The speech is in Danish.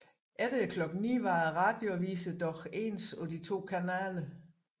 Efter klokken 9 var radioaviserne dog ens på de to kanaler